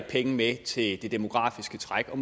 penge med til det demografiske træk og